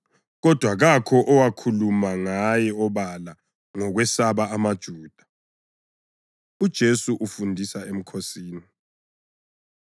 Kodwa kakho owakhuluma ngaye obala ngokwesaba amaJuda. UJesu Ufundisa Emkhosini